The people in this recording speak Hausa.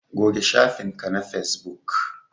Goge shafin ka na Facebook